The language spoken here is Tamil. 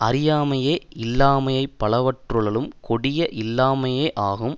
அறியாமையே இல்லாமைப் பலவற்றுளளும் கொடிய இல்லாமையாகும்